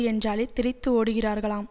என்றாலே தெறித்து ஓடுகிறார்களாம்